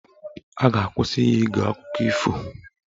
A ga-akwụsị ya ige akụkọ ifo